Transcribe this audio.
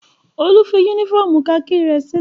Olú fi únífọ́ọ́mù kakí rẹ̀ sílé?